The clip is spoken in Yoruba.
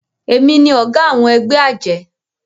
èmi ní oga àwọn egbé ajé